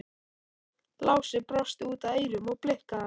Lási brosti út að eyrum og blikkaði hana.